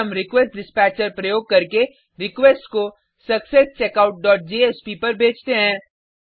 फिर हम रिक्वेस्टडिस्पैचर प्रयोग करके रिक्वेस्ट को successcheckoutजेएसपी पर भेजते हैं